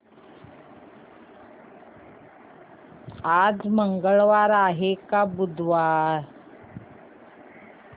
आज मंगळवार आहे की बुधवार